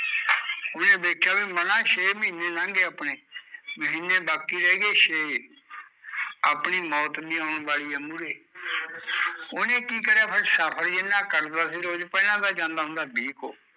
ਓਹਨੇ ਦੇਖਿਆ ਵੀ ਮਨਾਂ ਛੇ ਮਹੀਨੇ ਲੰਘ ਗਏ ਆਪਣੇ ਮਹੀਨੇ ਬਾਕੀ ਰਹਿ ਗਏ ਛੇ ਆਪਣੀ ਮੌਤ ਵੀ ਆਉਣ ਵਾਲੀ ਐ ਮੂਹਰੇ, ਓਹਨੇ ਕੀ ਕਰਿਆ ਫੇਰ